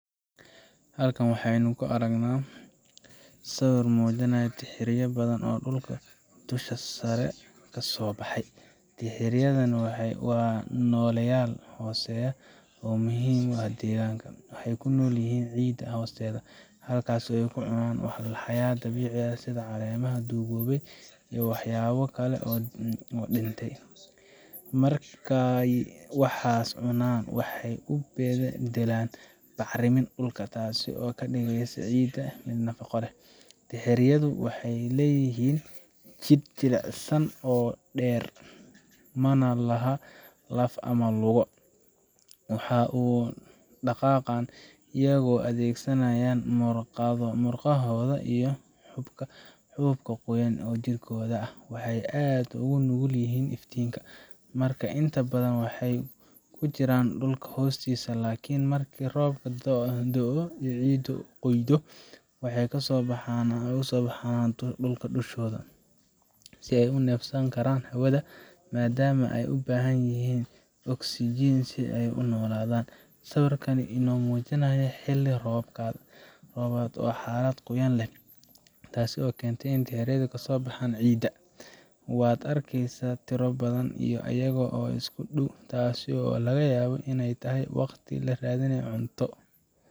Halkan waxa aynu ku aragnaa sawir muujinaya dirxiyo badan oo dhulka dusha sare kasoo baxay. Dirxiyadani waa nooleyaal hooseeya oo muhiim u ah deegaanka. Waxay ku nool yihiin ciidda hoosteeda, halkaas oo ay ka cunaan walxaha dabiiciga ah sida caleemaha duugoobay iyo waxyaabo kale oo dhintay. Markay waxaas cunaan, waxay u beddelaan bacriminta dhulka, taasoo ka dhigaysa ciidda mid nafaqo leh. Dirxiyadu waxay leeyihiin jidh jilicsan oo dheer, mana laha laf ama lugo. Waxay u dhaqaaqaan iyagoo adeegsanaya murqahooda iyo xuubka qoyan ee jidhkooda ah. Waxay aad ugu nugul yihiin iftiinka, markaa inta badan waxay ku jiraan dhulka hoostiisa. Laakiin markii roobku da’o ama ciiddu qoydo, waxay kasoo baxaan dusha si ay neefsan karaan hawada, maadaama ay u baahan yihiin oksijiin si ay u noolaadaan. Sawirkaan waxa uu inoo muujinayaa xilli roobaad ah ama xaalad qoyaan leh, taasoo keentay inay dirxiyadu kasoo baxaan ciidda. Waad arkaysaa tiro badan oo iyaga ah oo isku dhow, taasoo laga yaabo inay tahay waqti ay raadinayaan cunto